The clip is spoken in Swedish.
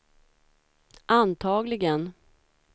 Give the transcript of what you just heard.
antagligen